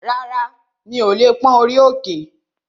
Rárá, mi ò lè pón orí òkè